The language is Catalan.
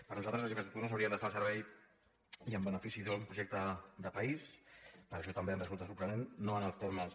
per nosaltres les infraestructures haurien d’estar al servei i en benefici d’un projecte de país per això també ens resulta sorprenent no en els termes